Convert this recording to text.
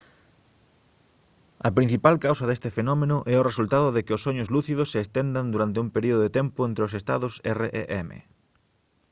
a principal causa deste fenómeno é o resultado de que os soños lúcidos se estendan durante un período de tempo entre os estados rem